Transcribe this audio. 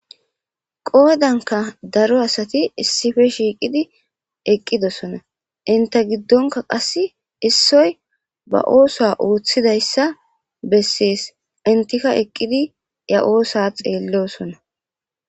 qoodanka daro asati issife shiiqidi eqqidosona inte giddonka qass issippe basosa ooththidayssa bessees intika eqqidi ya oosa xeellosona